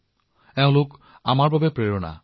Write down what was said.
এইটো আমাৰ সকলোৰে বাবে এক ডাঙৰ অনুপ্ৰেৰণা